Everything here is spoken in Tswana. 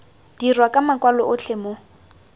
dirwa ka makwalo otlhe mo